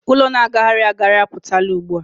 ụlọ na-agagharị agagharị a pụtala ugbua.